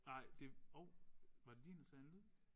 Nej det åh var det din der sagde en lyd?